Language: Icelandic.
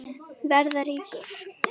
Verða ríkur.